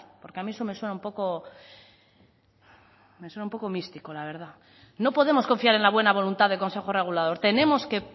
porque a mí eso me suena un poco místico la verdad no podemos confiar en la buena voluntad del consejo regulador tenemos que